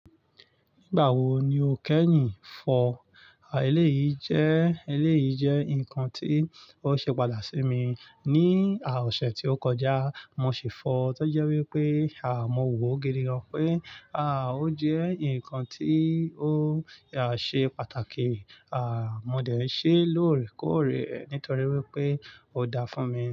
Nígbà wo ni o kẹ́yin fọ? Eléyìí jẹ́, eléyìí jẹ́ nǹkan tí ó ṣe patàki sí mi ní ọ̀sẹ̀ tí ó kọjá, mo sì fọ̀ọ́, tọ́ jẹ wípé, mọ́ wò ó gidi gan pé, ó jẹ́ ǹnkan tí ó ṣe pàtàkì. À mó dẹ̀ ṣẹ́ lọ̀orẹ̀ kọ̀orẹ̀ nítorí wípé ó dáa fún mi.